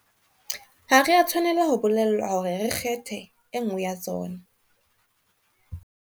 Ha re a tshwanela ho bolellwa hore re kgethe e nngwe ya tsona.